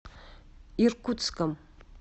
иркутском